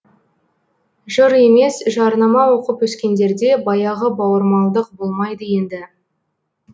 жыр емес жарнама оқып өскендерде баяғы бауырмалдық болмайды енді